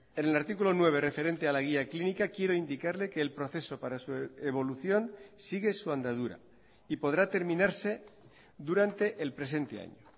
en el artículo nueve referente a la guía clínica quiero indicarle que el proceso para su evolución sigue su andadura y podrá terminarse durante el presente año